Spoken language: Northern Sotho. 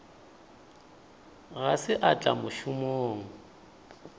ga se a tla mošomong